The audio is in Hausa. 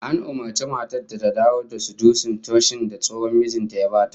An umurci matar ta dawo da sudusin toshin da tsohon mijin ta ya ba ta